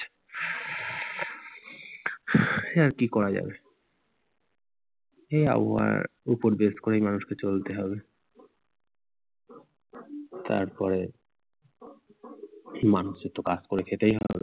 কি আর করা যায় এই আবহাওয়ার উপর বেশ করেই মানুষকে চলতে হবে তারপরে মানুষের তো কাজ করে খেতেই হবে।